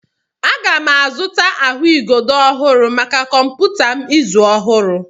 Aga m azụta ahụigodo ọhụrụ maka kọmputa m izu ọhụrụ.